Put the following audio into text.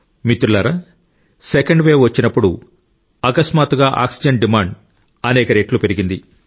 మిత్రులారా second wave వచ్చినప్పుడు అకస్మాత్తుగా ఆక్సిజన్ డిమాండ్ అనేక రెట్లు పెరిగింది